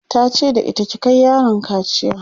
tace da ita "ki Kai yaron kaciya!'